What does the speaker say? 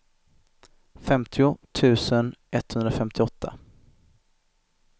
femtio tusen etthundrafemtioåtta